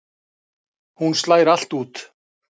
Hún slær allt út.